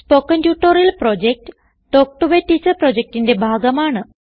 spoken tutorial project talk to a teacher പ്രൊജക്റ്റിന്റെ ഭാഗമാണ്